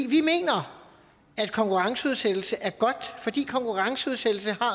vi mener at konkurrenceudsættelse er godt fordi konkurrenceudsættelse har